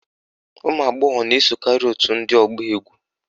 Ụmụagbọghọ na-esokarị òtù ndị ọgba égwú